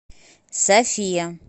софия